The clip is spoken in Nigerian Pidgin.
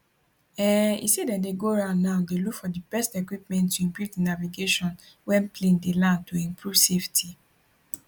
um e say dem dey go round now dey look for di best equipment to improve di navigation wen plane dey land to improve safety